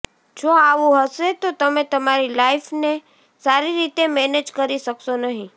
જો આવું હશે તો તમે તમારી લાઇફને સારી રીતે મેનેજ કરી શકશો નહીં